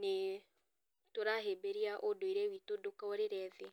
nĩ tũrahĩmbĩria ũndũire witũ ndũkorĩre thĩ.